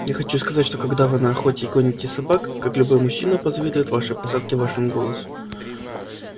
я хочу сказать что когда вы на охоте и гоните собак как любой мужчина позавидует вашей посадке и вашему голосу